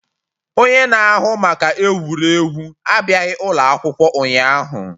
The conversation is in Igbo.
Onye na-ahụ maka egwuregwu abịaghị ụlọ akwụkwọ ụnyahụ.